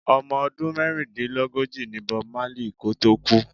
Omo ọdún mẹ́rìndínlógóji ní Bob Marley kò tó kú.